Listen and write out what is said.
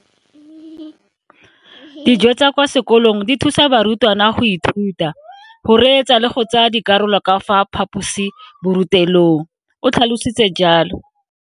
Dijo tsa kwa sekolong dithusa barutwana go ithuta, go reetsa le go tsaya karolo ka fa phaposiborutelong, o tlhalositse jalo.